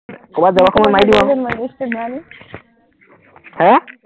কৰবাত যাবৰ সময়ত আহ